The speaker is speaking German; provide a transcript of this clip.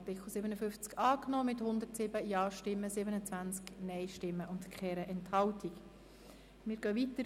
Sie haben den Artikel 56 mit 89 Ja- gegen 43 Nein-Stimmen bei 1 Enthaltung angenommen.